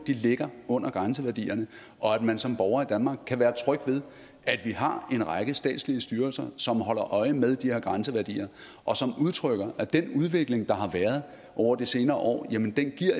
ligger under grænseværdierne og at man som borger i danmark kan være tryg ved at vi har en række statslige styrelser som holder øje med de her grænseværdier og som udtrykker at den udvikling der har været over de senere år